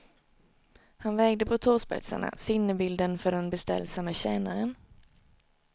Han vägde på tåspetsarna, sinnebilden för den beställsamme tjänaren.